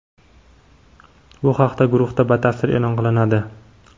Bu haqida guruhda batafsil e’lon qilinadi.